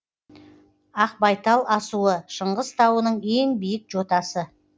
ақбайтал асуы шыңғыс тауының ең биік жотасы